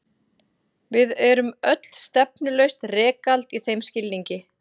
Við erum öll stefnulaust rekald í þeim skilningi.